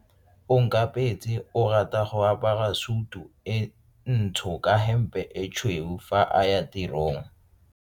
Onkabetse o rata go apara sutu e ntsho ka hempe e tshweu fa a ya tirong.